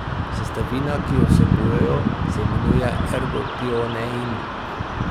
Sestavina, ki jo vsebujejo, se imenuje ergotionein.